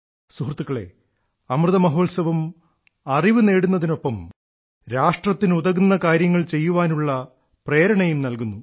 സുഹൃത്തുക്കളേ അമൃതമഹോത്സവം അറിവു നേടുന്നതിനൊപ്പം രാഷ്ട്രത്തിനുതകുന്ന കാര്യങ്ങൾ ചെയ്യുവാനുള്ള പ്രേരണയും നൽകുന്നു